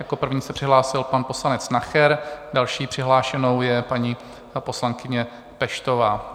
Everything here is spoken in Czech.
Jako první se přihlásil pan poslanec Nacher, další přihlášenou je paní poslankyně Peštová.